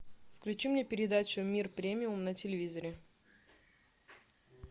включи мне передачу мир премиум на телевизоре